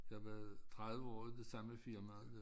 Jeg var 30 år i det samme firma